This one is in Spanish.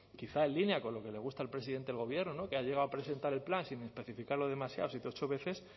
quizá en línea con lo que le gusta al presidente del gobierno que ha llegado a presentar el plan sin especificarlo demasiado siete u ocho veces